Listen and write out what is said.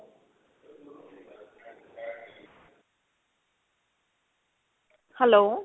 hello.